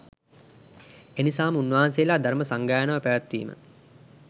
එනිසා ම උන්වහන්සේලා ධර්ම සංගායනාව පැවැත්වීම